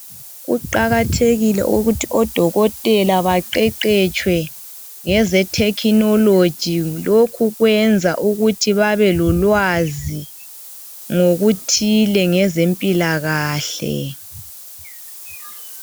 Kuqakathekile ukuthi odokotela baqeqetshwe ngeze thekhinoloji lokhu kwenza ukuthi babe lolwazi ngokuthile ngezempilakahle.